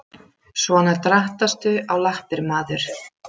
Svona drattastu á lappir maður.